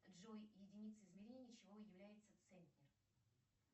джой единицей измерения чего является центнер